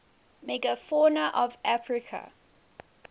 megafauna of africa